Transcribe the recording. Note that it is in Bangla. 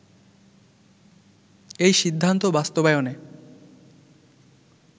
এই সিদ্ধান্ত বাস্তবায়নে